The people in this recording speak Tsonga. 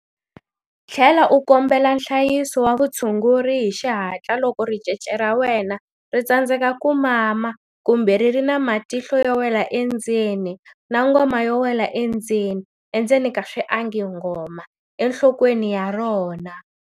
Tlhela u kombela nhlayiso wa vutshunguri hi xihatla loko ricece ra wena ri tsandzeka ku mama kumbe ri ri na matihlo yo wela endzeni na ngoma yo wela endzeni, ngoma, enhlokweni ya rona.